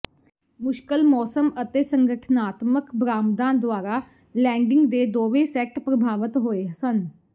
ਮੁਸ਼ਕਲ ਮੌਸਮ ਅਤੇ ਸੰਗਠਨਾਤਮਕ ਬਰਾਮਦਾਂ ਦੁਆਰਾ ਲੈਂਡਿੰਗ ਦੇ ਦੋਵੇਂ ਸੈਟ ਪ੍ਰਭਾਵਤ ਹੋਏ ਸਨ